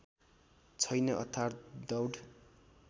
छैन अर्थात् दौड